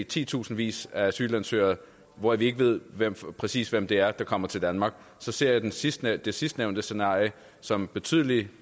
titusindvis af asylansøgere hvoraf vi ikke ved præcis hvem det er der kommer til danmark så ser jeg det sidstnævnte sidstnævnte scenarie som betydelig